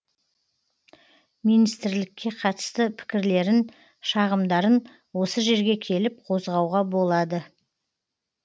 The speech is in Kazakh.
минстірлікке қатысты пікірлерін шағымдарын осы жерге келіп қозғауға болады